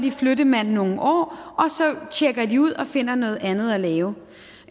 er flyttemænd i nogle år så tjekker de ud og finder noget andet at lave